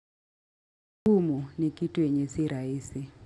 Ngumu ni kitu yenye si rahisi.